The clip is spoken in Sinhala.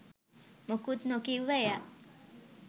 මොකුත් නොකිව්ව එයා